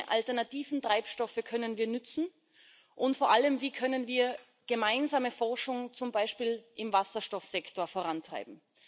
Welche alternativen Treibstoffe können wir nutzen? Und vor allem, wie können wir gemeinsame Forschung, zum Beispiel im Wasserstoffsektor, vorantreiben?